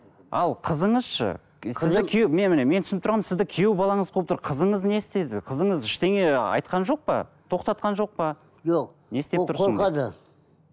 ал қызыңыз ше менің түсініп тұрғаным сізді күйеу балаңыз қуып тұр қызыңыз не істеді қызыңыз ештеңе айтқан жоқ па тоқтатқан жоқ па жоқ ол қорқады